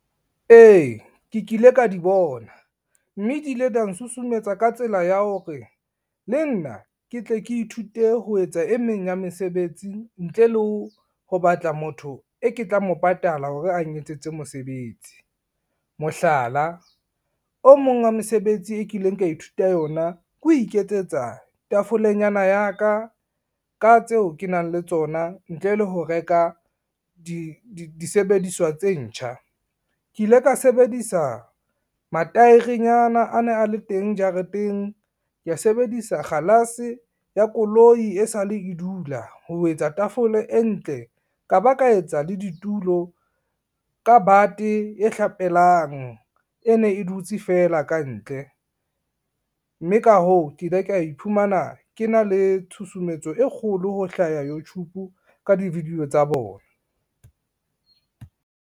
E, ke kile ka di bona, mme di ile da nsusumetsa ka tsela ya hore le nna ke tle ke ithute ho etsa e meng ya mesebetsi ntle le ho batla motho e ke tla mo patala hore ang etsetse mosebetsi. Mohlala o mong wa mesebetsi e kileng ka ithuta yona ke ho iketsetsa tafolenyana ya ka ka tseo ke nang le tsona ntle le ho reka disebediswa tse ntjha. Ke ile ka sebedisa mataerenyana a ne a le teng jareteng, ka sebedisa kgalase ya koloi e sale e dula ho etsa tafole e ntle, ka ba ka etsa le ditulo ka bate e hlapelang e ne e dutse feela kantle. Mme ka hoo, ke ile ka iphumana ke na le tshusumetso e kgolo ho hlaha Youtube ka di-video tsa bona.